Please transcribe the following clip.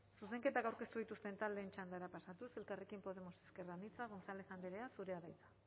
zuzenketak aurkeztu dituzten taldeen txandara pasatuz elkarrekin podemos ezker anitza gonzález andrea zurea da hitza